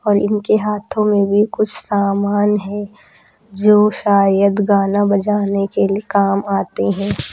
और इनके हाथों में भी कुछ सामान है जो शायद गाना बजाने के लिए काम आते हैं।